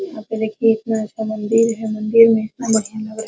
यहाँ पे देखिए एक बड़ा सा मंदिर है मंदिर मे इतना बढ़िया लग रहा है |